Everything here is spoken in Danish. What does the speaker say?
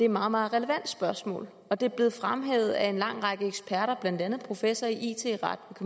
meget relevant spørgsmål og det er blevet fremhævet af en lang række eksperter blandt andet en professor i it ret